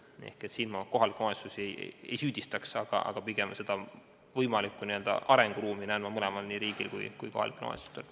Nii et siin ma kohalikke omavalitsusi ei süüdistaks, pigem näen võimalikku arenguruumi mõlemal, nii riigil kui ka kohalikel omavalitsustel.